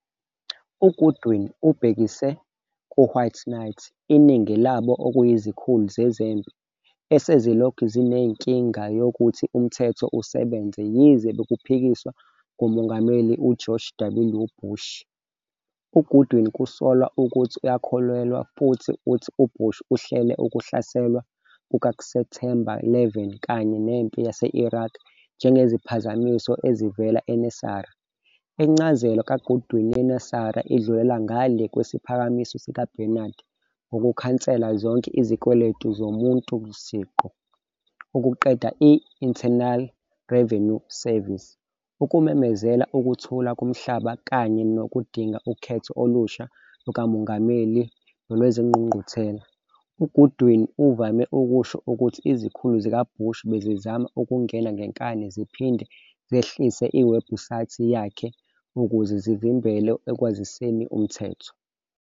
UGoodwin ubhekise ku "White Knights," iningi labo okuyizikhulu zezempi, esezilokhu zinenkinga yokuthi umthetho usebenze yize bekuphikiswa nguMongameli George W. Bush. UGoodwin kusolwa ukuthi uyakholelwa futhi uthi uBush uhlele ukuhlaselwa kukaSepthemba 11 kanye neMpi yase-Iraq njengeziphazamiso ezivela eNESARA. Incazelo kaGoodwin yeNESARA idlulela ngalé kwesiphakamiso sikaBarnard ngokukhansela zonke izikweletu zomuntu siqu, ukuqeda i-Internal Revenue Service, ukumemezela ukuthula komhlaba, kanye nokudinga ukhetho olusha lukamongameli nolwezingqungquthela. UGoodwin uvame ukusho ukuthi izikhulu zikaBush bezizama ukungena ngenkani ziphinde zehlise iwebhusayithi yakhe ukuze zimvimbele ekwaziseni umthetho.